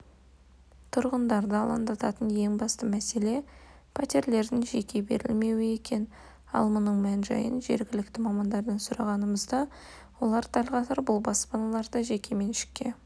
тұрғындарды алаңдататын ең басты мәселе пәтерлердің жекеге берілмеуі екен ал мұның мән-жайын жергілікті мамандардан сұрағанымызда олар дәл қазір бұл баспаналарды жекеменшікке